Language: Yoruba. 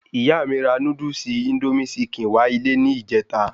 Ìyá mi ra Núdúsì "Índómì sikèn"wá ilé ni ìjẹta